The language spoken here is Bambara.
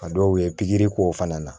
A dɔw ye pikiri k'o fana na